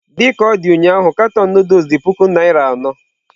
Dị ka ọ dị ụnyahụ katọn Nụdụls dị puku naira anọ.